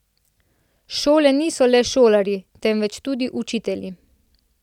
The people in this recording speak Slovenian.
Šole niso le šolarji, temveč tudi učitelji.